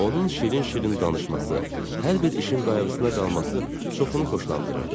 Onun şirin-şirin danışması, hər bir işin qayğısına qalması çoxunu xoşlandırırdı.